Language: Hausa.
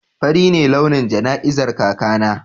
Fari ne launin jana'izar kakana.